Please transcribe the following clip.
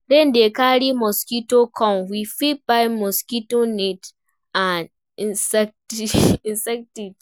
Rain dey carry mosquitoes come, we fit buy mosquito nets and insecticide